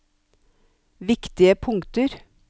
viktige punkter